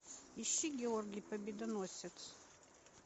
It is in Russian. ищи георгий победоносец